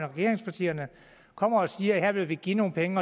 regeringspartierne kommer og siger at her vil vi give nogle penge